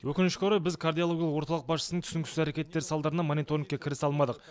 өкінішке орай біз кардиологиялық орталық басшысының түсініксіз әрекеттері салдарынан мониторингке кірісе алмадық